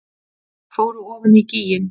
Fóru ofan í gíginn